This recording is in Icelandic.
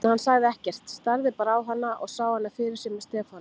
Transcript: En hann sagði ekkert, starði bara á hana og sá hana fyrir sér með Stefáni.